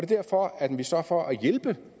derfor at vi så for at hjælpe